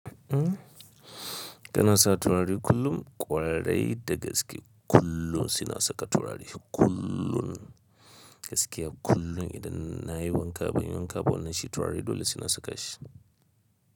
Kana sa turare kullum, kwarai da gaske kullum saina saka turare kullum, gaskiya kullum idan na yi wanka ban yi wanka ba nan shi turare dole suna saka shi.